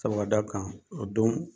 Sabu ka da kan o don